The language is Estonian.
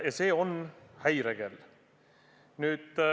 Ja see paneb häirekella tööle.